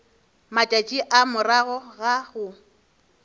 matšatši a morago ga go